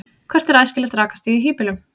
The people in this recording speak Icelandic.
hvert er æskilegt rakastig í hýbýlum